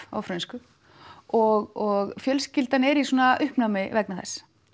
á frönsku og fjölskyldan er í svona uppnámi vegna þess